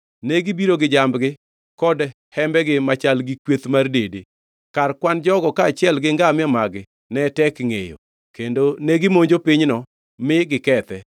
Negibiro gi jambgi kod hembegi machal gi kweth mar dede. Kar kwan jogo kaachiel gi ngamia mag-gi ne tek ngʼeyo, kendo negimonjo pinyno mi gikethe.